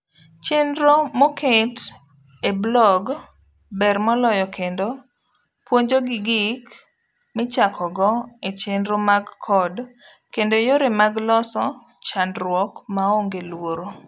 Chenro moket e bloge ber moloyo kendo puonjogi gik michakogo echenro mag code kendo yore mag loso chandruok maonge luoro.